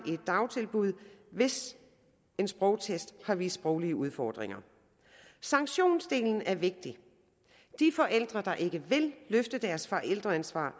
i et dagtilbud hvis en sprogtest har vist sproglige udfordringer sanktionsdelen er vigtig de forældre der ikke vil tage deres forældreansvar